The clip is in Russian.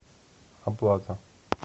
оплата